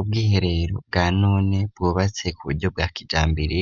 Ubwiherero bwa none bwubatse ku buryo bwa kijambere,